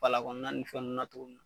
Fala kɔnɔna ni fɛn nunnu na tuguni